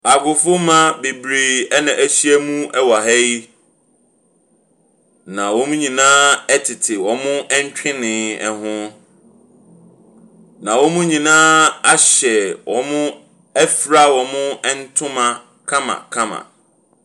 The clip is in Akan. Agofomba bebree na ahyia mu wɔ ha yi. Na wyn nyinaa tete wɔn ntwene ho. Na wɔn nyinaa ahyɛ wɔn afura wɔn ntoma kamakama.